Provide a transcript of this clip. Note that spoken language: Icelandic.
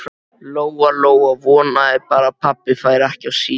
Lóa-Lóa vonaði bara að pabbi færi ekki á síld.